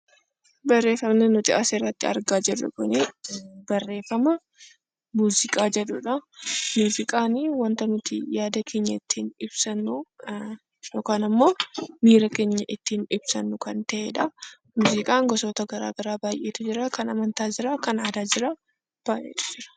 Barreeffamni asirratti argaa jirru, barreeffama muuziqaa jedhudha. Muuziqaan waanta nuti ittiin yaada keenya ibsannuu, yookaan immoo miira keenya ittiin ibsannudha. Muuziqaan gosoota garaagaraatu jiru, kan aadaa jiraa.